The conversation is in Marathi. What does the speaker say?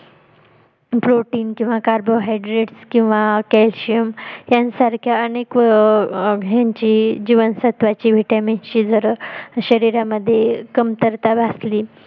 protien किंवा carbon hydraits किंवा calcium यांसारख्या अनेक आह ह्यांची जीवन सत्वांची vitamin ची शरीरामध्ये कमतरता भासली